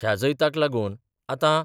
ह्या जैताक लागून आतां